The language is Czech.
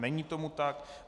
Není tomu tak.